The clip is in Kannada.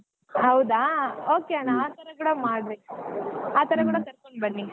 ಹೌದಾ okay ಅಣ್ಣಾ ಆತರಾ ಕೂಡಾ ಮಾಡ್ರಿ ಆತರ ಕೂಡಾ ಕರಕೊಂಡ್ ಬನ್ನಿ.